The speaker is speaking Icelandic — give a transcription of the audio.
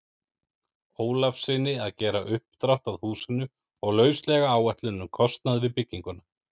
Ólafssyni að gera uppdrátt að húsinu og lauslega áætlun um kostnað við bygginguna.